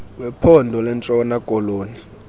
wephondo lentshona koloni